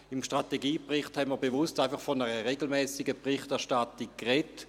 Im Strategiebericht haben wir bewusst von einer regelmässigen Berichterstattung gesprochen.